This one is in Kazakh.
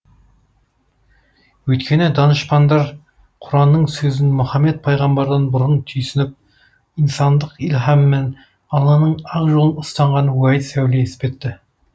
өйткені данышпаңдар құранның сөзін мұхаммед пайғамбардан бұрын түйсініп инсандық ілхамымен алланың ақ жолын ұстанған уәйіс әулие іспетті